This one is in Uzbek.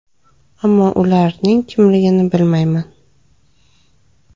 – Ammo ularning kimligini bilmayman.